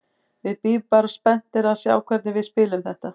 Við bíðum bara spenntir að sjá hvernig við spilum þetta.